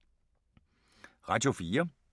Radio 4